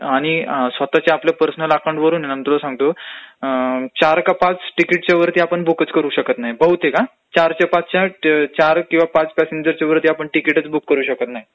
आणि स्वतःच्या आपल्या पर्सनल अकाऊंट वरून म्हणजे तुला सांगतो चार का पाच तिकीटंच्या वरती आपण बुकच करू शकत नाही, बहुतेक हा, चार -पाच ...चार किंवा पाच पॅसेंजरच्या वरती आपण तिकिटचं बुक करू शकत नाही,